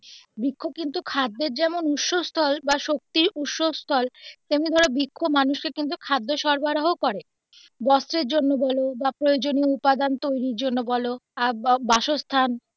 বৃক্ষ কিন্তু খাদ্যের যেমন উৎস স্থল বা শক্তির উৎস স্থল তেমনি ধরো বৃক্ষ মানুষকে কিন্তু খাদ্যের সরবরাহ করে বস্ত্রের জন্য বলো বা প্রয়োজনীয় উপাদান তৈরির জন্য বলো আর বাসস্থান.